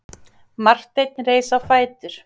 Marteinn reis á fætur.